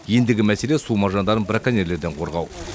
ендігі мәселе су маржандарын браконьерлерден қорғау